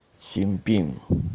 синпин